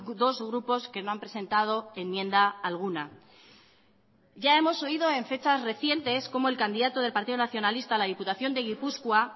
dos grupos que no han presentado enmienda alguna ya hemos oído en fechas recientes cómo el candidato del partido nacionalista a la diputación de gipuzkoa